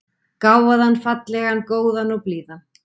Gáfaðan, fallegan, góðan og blíðan.